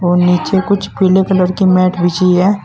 नीचे कुछ पीले कलर की मैट बिछी है।